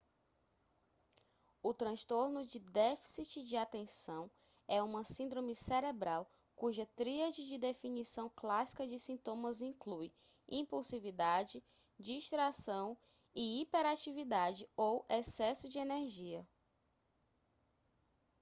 o transtorno de déficit de atenção é uma síndrome cerebral cuja tríade de definição clássica de sintomas inclui impulsividade distração e hiperatividade ou excesso de energia